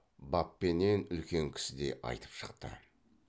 баппенен үлкен кісідей айтып шықты